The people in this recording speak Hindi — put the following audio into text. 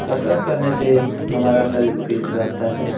कसरत करने से हमारा सरीर फिट रहता है।